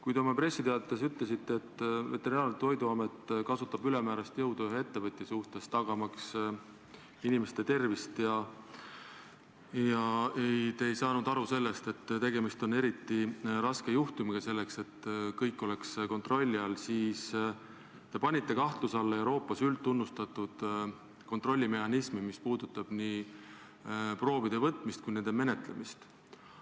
Kui te oma pressiteates ütlesite, et Veterinaar- ja Toiduamet kasutab ülemäärast jõudu ühe ettevõtja suhtes, selleks et kõik oleks kontrolli all, tagamaks inimeste tervist, ja te ei saanud aru sellest, et tegemist on eriti raske juhtumiga, siis te panite kahtluse alla Euroopas üldtunnustatud kontrollimehhanismi, mis puudutab nii proovide võtmist kui ka nende menetlemist.